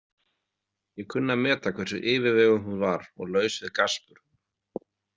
Ég kunni að meta hversu yfirveguð hún var og laus við gaspur.